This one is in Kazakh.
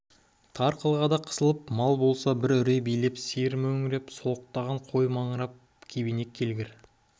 тар қылғада қысылып мал болса бір үрей билеп сиыр мөңіреп солықтаған қой маңырап кебенек келгір